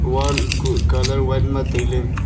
wall kuh colour white ma tailey.